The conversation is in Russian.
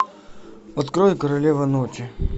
открой королева ночи